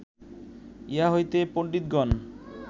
ইহা হইতে পণ্ডিতগণ